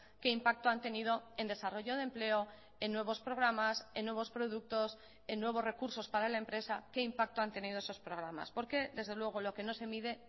qué impacto han tenido en desarrollo de empleo en nuevos programas en nuevos productos en nuevos recursos para la empresa qué impacto han tenido esos programas porque desde luego lo que no se mide